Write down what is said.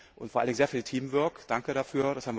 und vor allem war das sehr viel Teamwork Danke dafür!